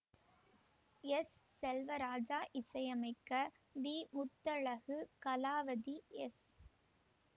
S Selvaraja இசை அமைக்க V Muthazhagu Kalavathi S